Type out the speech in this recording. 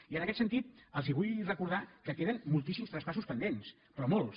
i en aquest sentit els vull recordar que queden moltíssims traspassos pendents però molts